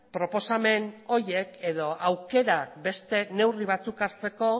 proposamen horiek edo aukerak beste neurri batzuk hartzeko